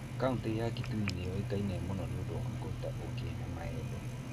Kaunti ya Kitui nĩ ĩũĩkaine mũno nĩ ũndũ wa kũruta ũũkĩ na maembe.